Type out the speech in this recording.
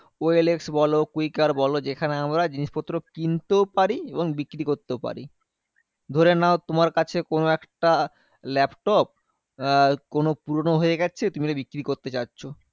ও L X বলো, Quikr বলো যেখানে আমরা জিনিসপত্র কিনতেও পারি এবং বিক্রি করতেও পারি। ধরে নাও তোমার কাছে কোনো একটা laptop আহ কোনো পুরোনো হয়ে গেছে। তুমি ওটা বিক্রি করতে যাচ্ছো